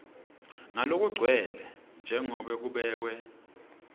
ngalokugcwele njengoba kubekwe